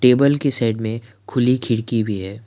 Table की side में खुली खिड़की भी है।